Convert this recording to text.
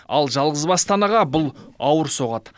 ал жалғызбасты анаға бұл ауыр соғады